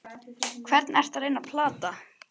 Hvern ertu að reyna að plata?